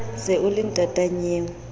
se o le ntata nnyeo